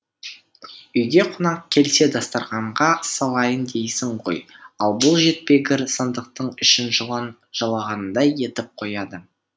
үйге қонақ келсе дастарқанға салайын дейсің ғой ал бұл жетпегір сандықтың ішін жылан жалағандай етіп қояды